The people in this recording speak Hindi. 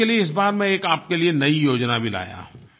इसके लिए इस बार मैं एक आपके लिये नयी योजना भी लाया हूँ